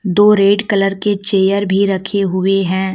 दो red colour के chair भी रखे हुए हैं।